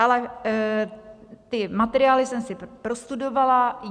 Ale ty materiály jsem si prostudovala.